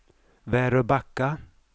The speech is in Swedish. Väröbacka